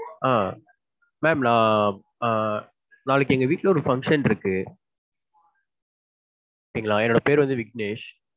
ஆஹ் ma'am நா ஆஹ் நாளைக்கு எங்க வீட்ல ஒரு function இருக்கு. சரிங்களா என்னோட பேர் வந்து விக்னேஷ்.